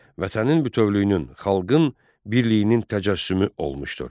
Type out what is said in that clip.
Vətənin bütövlüyünün, xalqın birliyinin təcəssümü olmuşdur.